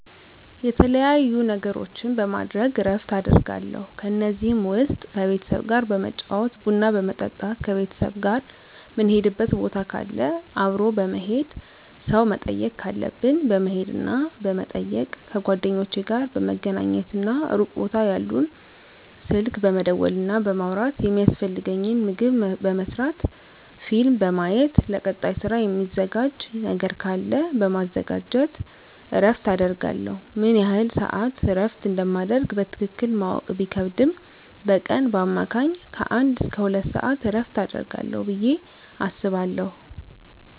የተለያዩ ነገሮችን በማድረግ እረፍት አደርጋለሁ ከነዚህም ውስጥ ከቤተሰብ ጋር በመጫወት ቡና በመጠጣት ከቤተሰብ ጋር ምንሄድበት ቦታ ካለ አብሮ በመሄድ ሰው መጠየቅ ካለብን በመሄድና በመጠየቅ ከጓደኞቼ ጋር በመገናኘትና ሩቅ ቦታ ያሉትን ስልክ በመደወልና በማውራት የሚያስፈልገኝን ምግብ በመስራት ፊልም በማየት ለቀጣይ ስራ ሚዘጋጅ ነገር ካለ በማዘጋጀት እረፍት አደርጋለሁ። ምን ያህል ስዓት እረፍት እንደማደርግ በትክክል ማወቅ ቢከብድም በቀን በአማካኝ ከአንድ እስከ ሁለት ሰዓት እረፍት አደርጋለሁ ብየ አስባለሁ።